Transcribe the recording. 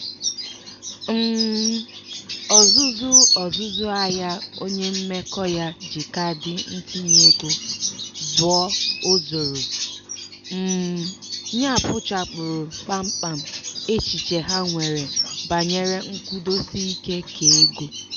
um ọzụzụ ọzụzụ ahịa onye mmekọ ya ji kaadị ntinyeego zụọ o zooro um ya kpochapụrụ kpamkpam echiche ha nwere banyere nkwụdosiike keego.